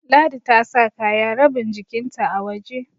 Ladi ta sa kaya rabin jikinta a waje